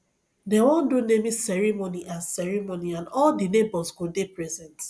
dey wan do naming ceremony and ceremony and all di neighbours go dey present